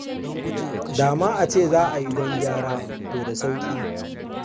Da ma a ce za a yi don gyara, to da sauƙi.